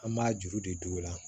An b'a juru de don o la